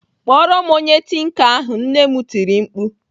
"Kpọrọ m onye tinka ahụ! "Nne m tiri mkpu